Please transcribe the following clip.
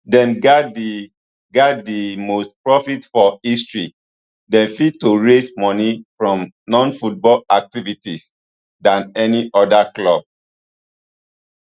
dem gat di gat di most profits for history dem fit to raise moni from nonfootball activities than any oda club